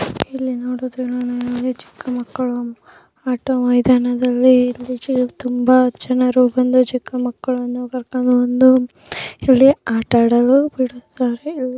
ಇಲ್ಲಿ ನೋಡುತ್ತಿವೆ ಚಿಕ್ಕಮಕ್ಕಳ ಆಟ ಮೈದಾನವಿದೆ ಇಲ್ಲಿ ಬಂದು ತುಂಬಾ ಜನರು ಚಿಕ್ಕಮಕ್ಕಳನ್ನು ಕರಕೊಂಡು ಬಂದು ಇಲ್ಲಿ ಆಟದಲ್ಲೂ ಬಿಡುತ್ತಾರೆ.